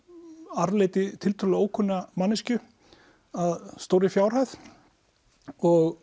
arfleiddi tiltölulega ókunna manneskju að stórri fjárhæð og